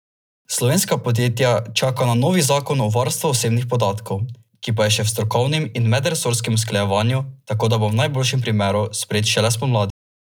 Slovenska podjetja čakajo na novi zakon o varstvu osebnih podatkov, ki pa je še v strokovnem in medresorskem usklajevanju, tako da bo v najboljšem primeru sprejet šele spomladi.